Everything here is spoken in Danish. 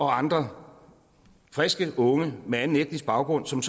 andre friske unge med anden etnisk baggrund som